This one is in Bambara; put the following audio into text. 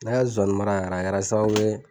Ne y'a zɔnnimara yɛrɛ a kɛra sababu ye.